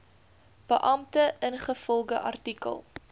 beampte ingevolge artikel